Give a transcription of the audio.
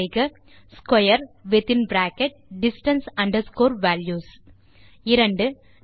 type செய்க square within bracket distance underscore values 2